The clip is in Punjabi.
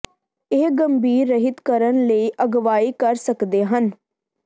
ਇਹ ਗੰਭੀਰ ਰਹਿਤ ਕਰਨ ਲਈ ਅਗਵਾਈ ਕਰ ਸਕਦੇ ਹਨ